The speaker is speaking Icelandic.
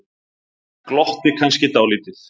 Glotti kannski dálítið.